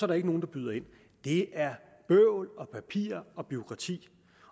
der ikke nogen der byder ind det er bøvl og papir og bureaukrati